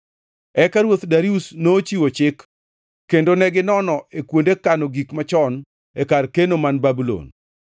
Eka Ruoth Darius nochiwo chik, kendo neginono e kuonde kano gik machon e kar keno man Babulon.